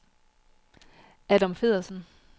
Adam Feddersen